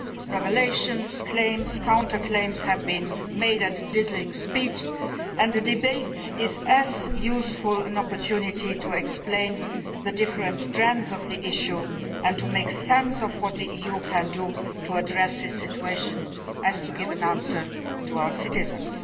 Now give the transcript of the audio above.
Revelations, claims and counterclaims have been made at a dizzying speed. This debate is a useful opportunity to explain the different strands of the issue and to make sense of what the EU can do to address this situation so as to give an answer to our citizens.